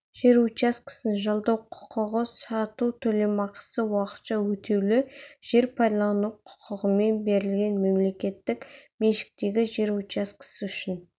жер учаскесін жалдау құқығын сату төлемақысы уақытша өтеулі жер пайдалану құқығымен берілген мемлекеттік меншіктегі жер учаскесі үшін